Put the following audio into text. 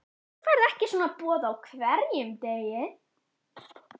En þú færð ekki svona boð á hverjum degi.